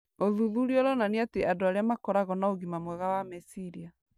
Ũthuthuria ũronania atĩ andũ arĩa makoragwo na ũgima mwega wa meciria